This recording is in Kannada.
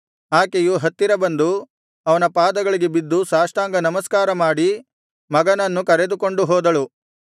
ಆಕೆಯು ಹತ್ತಿರ ಬಂದು ಅವನ ಪಾದಗಳಿಗೆ ಬಿದ್ದು ಸಾಷ್ಟಾಂಗನಮಸ್ಕಾರ ಮಾಡಿ ಮಗನನ್ನು ಕರೆದುಕೊಂಡು ಹೋದಳು